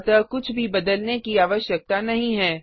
अतः कुछ भी बदलने की आवश्यकता नहीं है